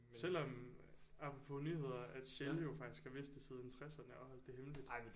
Selvom apropos nyheder at Shell jo faktisk har vidst det siden tresserne og har holdt det hemmeligt